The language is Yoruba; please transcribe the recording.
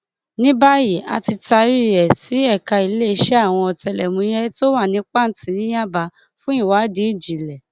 ní báyìí a ti taari ẹ sí ẹka iléeṣẹ àwọn ọtẹlẹmúyẹ tó wà ní pàǹtí ní yábà fún ìwádìí ìjìnlẹ